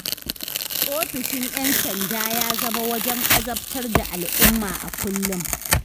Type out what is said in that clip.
Ofishin 'yan sanda ya zama wajen azabtar da al'umma a kullum.